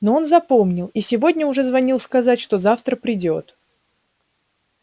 но он запомнил и сегодня уже звонил сказать что завтра придёт